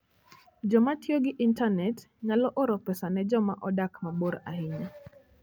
Joma tiyo gi intanet nyalo oro pesa ne joma odak mabor ahinya.